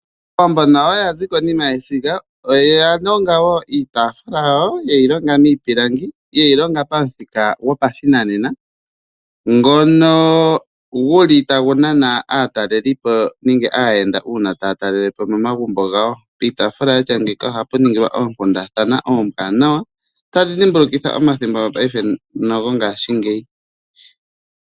Aawambo nayo ya zi konima yesiga. Oya longa wo iitaafula yawo ye yi longa miipilangi ye yi longa pamuthika gopashinanena ngono gu li tagu nana aatalelipo nenge aayenda uuna taya talele po momagumbo gawo. Piitaafula yatya ngeyika ohapu ningilwa oonkundathana oombwaanawa tadhi dhimbulukitha omathimbo gonale nogongaashingeyi.